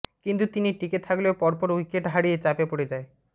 কিন্তু তিনি টিকে থাকলেও পর পর উইকেট হারিয়ে চাপে পড়ে যায়